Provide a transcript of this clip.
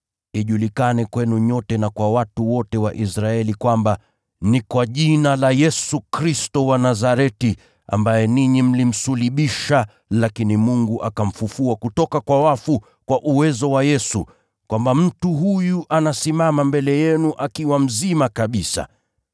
ijulikane kwenu nyote na kwa watu wote wa Israeli kwamba: Ni kwa jina la Yesu Kristo wa Nazareti, ambaye ninyi mlimsulubisha lakini Mungu akamfufua kutoka kwa wafu, kwa jina hilo mtu huyu anasimama mbele yenu akiwa mzima kabisa.